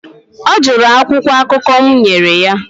ọ jụrụ akwụkwọ akụkọ m nyere ya